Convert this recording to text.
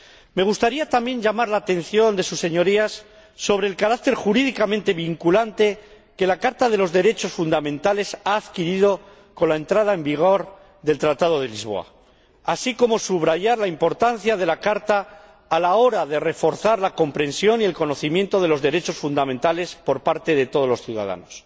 Me gustaría también llamar la atención de sus Señorías sobre el carácter jurídicamente vinculante que la Carta de los Derechos Fundamentales ha adquirido con la entrada en vigor del Tratado de Lisboa, así como subrayar la importancia de la Carta a la hora de reforzar la comprensión y el conocimiento de los derechos fundamentales por parte de todos los ciudadanos.